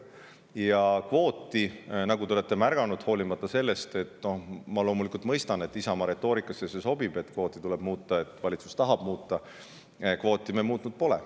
Ja nagu te olete märganud, hoolimata sellest – ma loomulikult mõistan, et Isamaa retoorikasse see sobib, et kvooti tuleb muuta –, et valitsus tahab kvooti muuta, me seda muutnud pole.